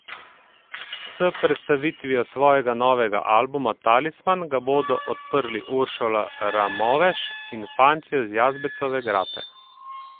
S predstavitvijo svojega novega albuma Talisman ga bodo odprli Uršula Ramoveš in Fantje z Jazbecove grape.